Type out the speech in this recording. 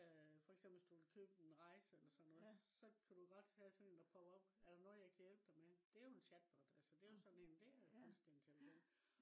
øh for eksempel hvis du vil købe en rejse eller sådan noget så kan du have sådan en der popper op. Er der noget jeg kan hjæpe dig med? det jo en chatbot. Altså det jo sådan en det jo kunstig intelligens